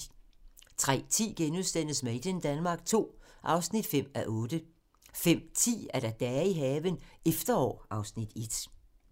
03:10: Made in Denmark II (5:8)* 05:10: Dage i haven - efterår (Afs. 1)